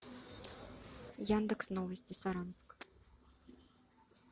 яндекс новости саранск